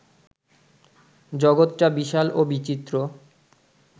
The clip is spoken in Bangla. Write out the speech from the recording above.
জগত্টা বিশাল ও বিচিত্র